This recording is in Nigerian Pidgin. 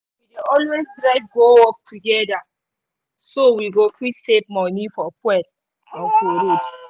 always drive go work together so we go fit save money for fuel and for road